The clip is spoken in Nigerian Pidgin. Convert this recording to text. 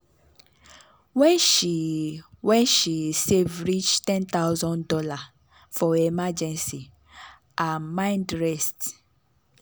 when she when she save reach one thousand dollars0 for emergency her mind rest